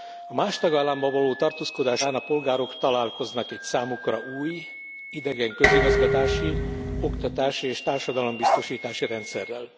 A más tagállamban való tartózkodás során a polgárok találkoznak egy számukra új, idegen közigazgatási, oktatási és társadalombiztosítási rendszerrel.